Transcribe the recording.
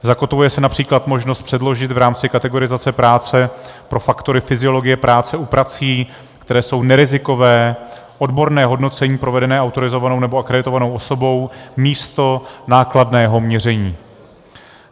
Zakotvuje se například možnost předložit v rámci kategorizace práce pro faktory fyziologie práce u prací, které jsou nerizikové, odborné hodnocení provedené autorizovanou nebo akreditovanou osobou místo nákladného měření.